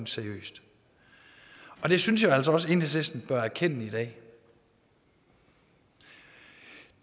seriøst det synes jeg altså også at enhedslisten bør erkende i dag det